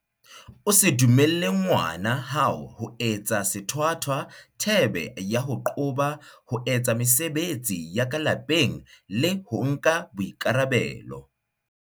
O se dumelle ngwana hao ho etsa sethwathwa thebe ya ho qoba ho etsa mese-betsi ya ka lapeng le ho nka boikarabelo.